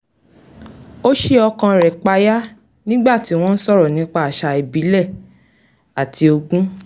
ó sí okàn rẹ̀ payá nígbà tí wọ́n ń sọ̀rọ̀ nípa àṣà ìbílẹ̀ àti ogún